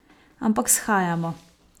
Ampak shajamo.